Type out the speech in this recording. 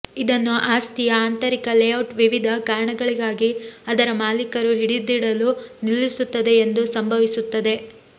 ಇದನ್ನು ಆಸ್ತಿಯ ಆಂತರಿಕ ಲೇಔಟ್ ವಿವಿಧ ಕಾರಣಗಳಿಗಾಗಿ ಅದರ ಮಾಲೀಕರು ಹಿಡಿದಿಡಲು ನಿಲ್ಲಿಸುತ್ತದೆ ಎಂದು ಸಂಭವಿಸುತ್ತದೆ